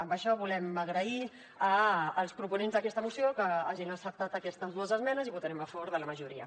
amb això volem agrair als proponents d’aquesta moció que hagin acceptat aquestes dues esmenes i votarem a favor de la majoria